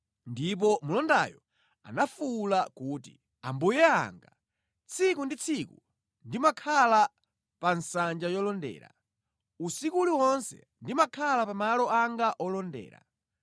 Ndipo mlondayo anafuwula kuti, “Ambuye anga, tsiku ndi tsiku ndimakhala pa nsanja yolondera; Usiku uliwonse ndimakhala pa malo anga olondera.